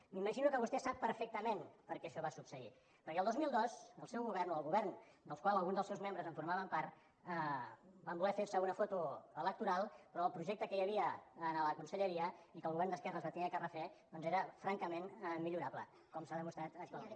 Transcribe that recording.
m’imagino que vostè sap perfectament per què això va succeir perquè el dos mil dos el seu govern o el govern del qual alguns dels seus membres formaven part van voler fer se una foto electoral però el projecte que hi havia en la conselleria i que el govern d’esquerres va haver de refer doncs era francament millorable com s’ha demostrat actualment